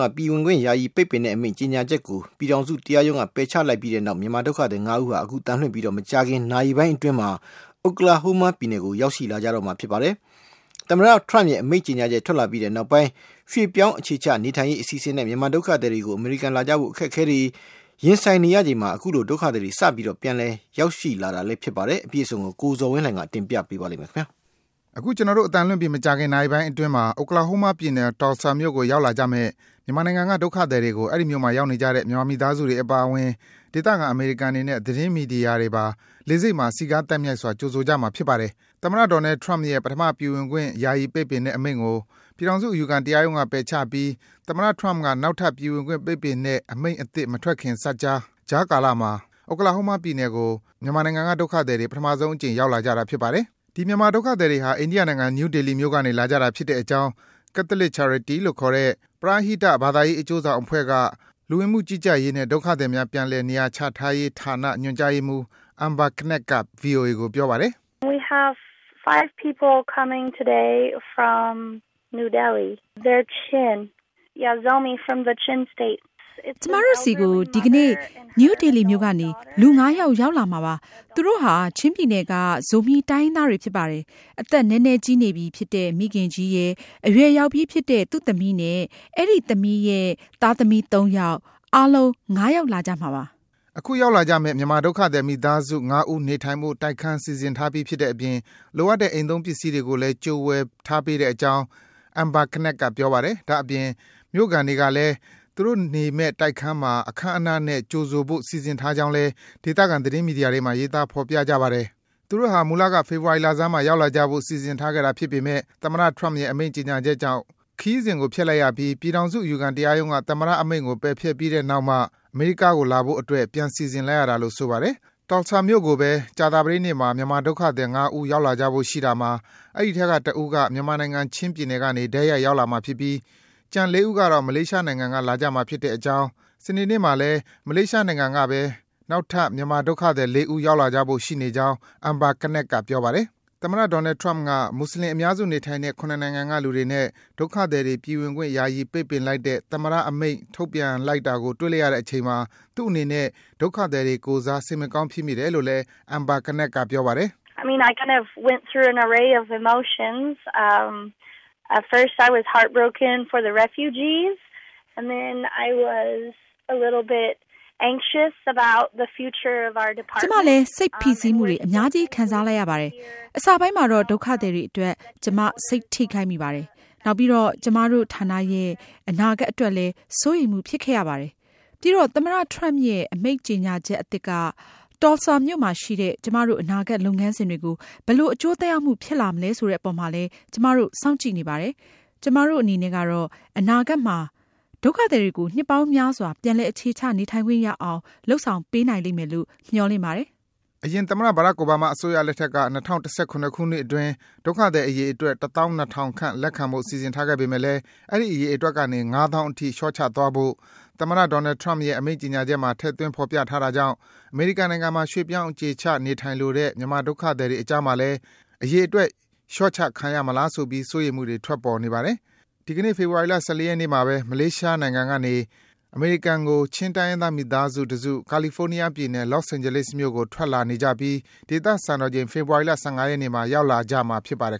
က ပြည်ခွင့်ယာယီပိတ်ပင်တဲ့အမိန့်ကြေညာချက်ကို ပြည်ထောင်စု အယူခံတရားရုံးက ပယ်ချလိုက်ပြီးတဲ့နောက် ဖေဖော်ဝါရီလ ၁၄ ရက်နေ့မှာတော့ မြန်မာဒုက္ခသည် ၅ ဦးဟာ အခု အသံလွှင့်ပြီး မကြာခင် နာရီပိုင်းအတွင်း Oklahoma ပြည်နယ်ကို ရောက်လာကြတော့မှာ ဖြစ်ပါတယ်။ သမ္မတ Trump ရဲ့ အမိန့်ကြေညာချက် ထွက်လာပြီးနောက်ပိုင်း ရွှေ့ပြောင်း အခြေချ နေထိုင်ရေး အစီအစဉ်နဲ့ မြန်မာဒုက္ခသည်တွေ အမေရိကန်လာကြဖို့ အခက်အခဲတွေနဲ့ ရင်ဆိုင်နေရချိန်မှာ အခုလို ဒုက္ခသည်တွေ စပြီး ပြန်လည် ရောက်လာနေတာ ဖြစ်ပါတယ်။ အပြည့်အစုံကိုတော့ ကိုဇော်ဝင်းလှိုင်က တင်ပြထားပါတယ်။ အခု ကျနော်တို့ အသံလွင့်ပြီး မကြာခင်မှာ Oklahoma ပြည်နယ်၊ Tulsa မြို့ကို ရောက်လာကြမယ့် မြန်မာနိုင်ငံက ဒုက္ခသည်တွေကို အဲဒီမြို့မှာ ရောက်နေကြတဲ့ မြန်မာမိသားစုတွေ အပါအဝင်၊ ဒေသခံ အမေရိကန်တွေနဲ့ သတင်းမီဒီယာတွေပါ လေဆိပ်မှာ စည်ကား သိုက်မြိုက်စွာ ကြိုဆိုကြမှာ ဖြစ်ပါတယ်။ သမ္မတ Donald Trump ရဲ့ ပထမ ပြည်ဝင်ခွင့် ယာယီပိတ်ပင်တဲ့ အမိန့်ကို ပြည်ထောင်စု အယူခံ တရားရုံးက ပယ်ချပြီး သမ္မတ Trump က နောက်ထပ် ပြည်ဝင်ခွင့် ပိတ်ပင်တဲ့ အမိန့်အသစ် မထွက်ခင် စပ်ကြား ကြားကာလမှာ Oklahoma ပြည်နယ်ကို မြန်မာနိုင်ငံက ဒုက္ခသည်တွေ ပထမဆုံးအကြိမ် ရောက်လာကြတာ ဖြစ်ပါတယ်။ ဒီ မြန်မာဒုက္ခသည်တွေဟာ အိန္ဒိယနိုင်ငံ၊ နယူးဒေလီမြို့ကနေ လာကြတာ ဖြစ်တဲ့အကြောင်း Catholic Charities လို့ခေါ်တဲ့ ပရဟိတ ဘာသာရေး အကျိုးဆောင်အဖွဲ့က လူဝင်မှုကြီးကြပ်ရေးနဲ့ ဒုက္ခသည်များ ပြန်လည်နေရာချထားရေးဌာန ညွန်ကြားရေးမှူး Amber Knecht က ဗွီအိုအေကို ပြောပါတယ်။ “ကျမတို့ဆီကို ဒီကနေ့ နယူးဒေလီမြို့ကနေ လူ ၅ ယောက် ရောက်လာမှာ ဖြစ်ပါတယ်။ သူတို့ဟာ ချင်းပြည်နယ်က ဇိုမီး တိုင်းရင်းသားတွေ ဖြစ်ပါတယ်။ အသက်နဲနဲကြီးနေပြီဖြစ်တဲ့ မိခင်ကြီးရယ်၊ အရွယ်ရောက်ပြီးဖြစ်တဲ့ သူ့သမီးနဲ့ အဲဒီ သမီးရဲ့ သားသမီး ၃ ယောက်၊ အားလုံး ၅ ယောက် လာကြမှာ ဖြစ်ပါတယ်။” အခုရောက်လာကြမယ့် မြန်မာဒုက္ခသည် မိသားစု ၅ ဦးနေထိုင်ဖို့ တိုက်ခန်း စီစဉ်ထားပြီး ဖြစ်တဲ့အပြင် လိုအပ်တဲ့ အိမ်သုံးပစ္စည်းတွေကိုလည်း ကြိုဝယ်ထားပေးတဲ့အကြောင်း Amber Knecht က ပြောပါတယ်။ ဒါ့အပြင် မြို့ခံတွေကလည်း သူတို့နေမယ့် တိုက်ခန်းမှာ အခမ်းအနားနဲ့ ကြိုဆိုကြဖို့ စီစဉ်ထားကြောင်း ဒေသခံ သတင်းမီဒီယာတွေမှာ ရေးသား ဖော်ပြကြပါတယ်။ သူတို့ဟာ မူလက ဖေဖော်ဝါရီလဆန်းမှာ ရောက်လာကြဖို့ စီစဉ်ထားခဲ့တာဖြစ်ပေမဲ့ သမ္မတ Trump ရဲ့ အမိန့်ကြေညာချက်ကြောင် ခရီးစဉ်ကို ဖျက်လိုက်ရပြီးမှာ ပြည်ထောင်စု အယူခံ တရားရုံးက သမ္မတမိန့်ကို ပယ်ဖျက်ပြီးတဲ့နောက်မှ အမေရိကားကို လာဖို့အတွက် ပြန်စီစဉ်လိုက်ရတာလို့ ဆိုပါတယ်။ Tulsa မြို့ကိုပဲ ကြာသပတေးနေ့မှာ မြန်မာဒုက္ခသည် ၅ ဦး ထပ်ရောက်လာကြဖို့ ရှိတာမှာ အဲဒီအထဲက တဦးဟာ မြန်မာနိုင်ငံ၊ ချင်းပြည်နယ်ကနေ တိုက်ရိုက် ထွက်လာမှာဖြစ်ပြီး ကျန် ၄ ဦးကတော့ မလေးရှားနိုင်ငံက လာကြမှာဖြစ်ကြောင်း၊ စနေနေ့မှာလည်း မလေးရှားနိုင်ငံကပဲ နောက်ထပ် မြန်မာဒုက္ခသည် ၄ ဦး ရောက်လာကြဖို့ ရှိနေကြောင်း Amber Knecht က ပြောပါတယ်။ သမ္မတ Donald Trump က မွတ်ဆလင် အများစုနေထိုင်တဲ့ ၇ နိုင်ငံကလူတွေနဲ့ ဒုက္ခသည်တွေ ပြည်ဝင်ခွင့် ယာယီ ပိတ်ပင်လိုက်တဲ့ သမ္မတ အမိန့် ထုတ်ပြန်တာကို တွေ့လိုက်ပြီးတဲ့နောက် သူ့အနေနဲ့ ဒုက္ခသည်တွေကိုယ်စား စိတ်မကောင်း ဖြစ်မိတယ်လို့လည်း Amber Knecht က ပြောပါတယ်။ “ကျမလည်း စိတ်ဖိစီးမှုတွေ အများကြီး ခံစားလိုက်ရပါတယ်။ အစပိုင်းမှာတော့ ဒုက္ခသည်တွေအတွက် ကျမ စိတ်ထိခိုက်မိပါတယ်။ နောက်ပြီးတော့ ကျမတို့ ဌာနရဲ့ အနာဂတ်အတွက်လည်း စိုးရိမ်မှု ဖြစ်ခဲ့ရပါတယ်။ ပြီးတော့ သမ္မတ Trump ရဲ့ အမိန့်ကြေညာချက် အသစ်က Tulsa မြို့မှာရှိတဲ့ ကျမတို့ အနာဂတ်လုပ်ငန်းစဉ်တွေကို ဘယ်လို အကျိုးသက်ရောက်မှု ဖြစ်လာမလဲ ဆိုတဲ့အပေါ်မှာလည်း ကျမတို့ စောင့်ကြည့်နေပါတယ်။ ကျမတို့အနေနဲ့ကတော့ အနာဂတ်မှာ ဒုက္ခသည်တွေကို နှစ်ပေါင်းများစွာ ပြန်လည် အခြေချ နေထိုင်ခွင့်ရအောင် လုပ်ဆောင်ပေးနိုင်လိမ့်မယ်လို့ မျှော်လင့်ပါတယ်။” အရင် သမ္မတ Barack Obama အစိုးရလက်ထက်က ၂၀၁၇ ခုနှစ်အတွင်း ဒုက္ခသည်အရေအတွက် ၁၂၀,၀၀၀ ခန့် လက်ခံဖို့ စီစဉ်ထားခဲ့ပေမယ့်လည်း အဲဒီ အရေအတွက်ကနေ ၅၀,၀၀၀ အထိ လျော့ချသွားဖို့ သမ္မတ Donald Trump ရဲ့ အမိန့်ကြေညာချက်မှာ ထည့်သွင်း ဖော်ပြထားတာကြောင့် အမေရိကန်နိုင်ငံမှာ ရွေ့ပြောင်း အခြေချ နေထိုင်လိုတဲ့ မြန်မာနိုင်ငံက ဒုက္ခသည်တွေအကြားမှာလည်း အရေအတွက် လျော့ချခံရမလားဆိုပြီး စိုးရိမ်မှုတွေ ထွက်ပေါ်နေပါတယ်။ ဒီကနေ့ ဖေဖော်ဝါရီလ ၁၄ ရက်နေ့မှာပဲ မလေးရှားနိုင်ငံကနေ အမေရိကန်နိုင်ငံကို ချင်းတိုင်းရင်းသား မိသားစု တစု ကာလီဖိုးနီးယားပြည်နယ်၊ Los Angeles မြို့ကို ထွက်လာကြနေပြီး ဒေသစံတော်ချိန် ဖေဖော်ဝါရီလ ၁၅ ရက်နေ့မှာ ရောက်လာကြမှာ ဖြစ်ပါတယ်